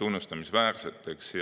tunnustamisväärseteks.